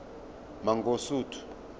mangosuthu